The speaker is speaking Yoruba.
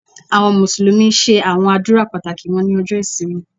Àwọn Mùsùlùmí ṣe àwọn àdúrà pàtàkì wọn ní ọjọ ìsinmi.